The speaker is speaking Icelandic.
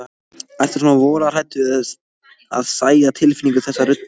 Ertu svona voðalega hræddur við að særa tilfinningar þessa rudda?